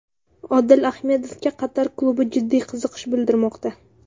Odil Ahmedovga Qatar klubi jiddiy qiziqish bildirmoqda.